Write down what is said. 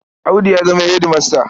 Audu ya zama hedimasta.